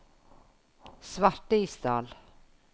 Svartisdal